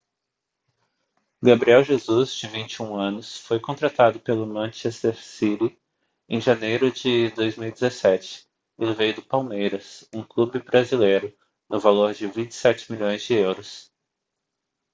gabriel jesus de 21 anos foi contratado pelo manchester city em janeiro de 2017 ele veio do palmeiras um clube brasileiro no valor de 27 milhões de euros